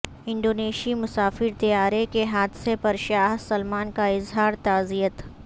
انڈونیشی مسافر طیارے کے حادثے پر شاہ سلمان کا اظہار تعزیت